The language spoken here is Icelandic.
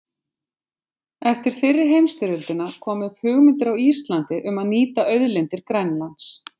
Eftir fyrri heimsstyrjöldina komu upp hugmyndir á Íslandi um að nýta auðlindir Grænlands.